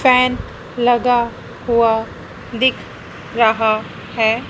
Fan लगा हुआ दिख रहा है।